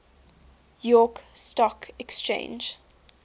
york stock exchange